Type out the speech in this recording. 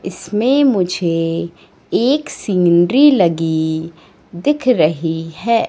इसमें मुझे एक सीनरी लगी दिख रही हैं।